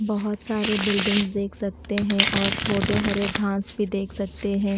बहोत सारे बिल्डिंग्स देख सकते है और छोटे हरे घास भी देख सकते है।